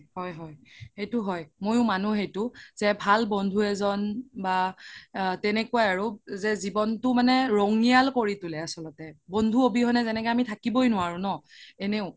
হয় হয় সেইটো মোইও মানো সেইটো যে ভাল বন্ধু এজ্ন বা তেনেকুৱাই আৰু যে জিৱ্নটো মানে ৰঙিয়াল কৰি তুলে আচলতে বন্ধু অবিহনে যেনেকে আমি থাকিবই নোৱাৰো ন এনেও